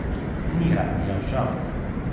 Ni radia, žal.